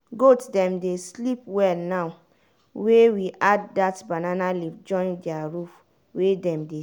goat dem dey sleep well now wey we add that banana leaves join their roof wey dem dey stay.